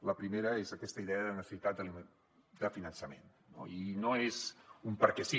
la primera és aquesta idea de necessitat de finançament no i no és un perquè sí